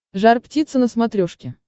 жар птица на смотрешке